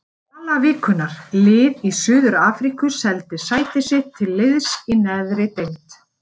Sala vikunnar: Lið í Suður-Afríku seldi sæti sitt til liðs í neðri deild.